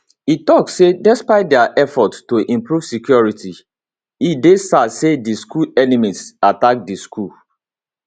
e tok say despite dia effort to improve security e dey sad say di school enemies attack di school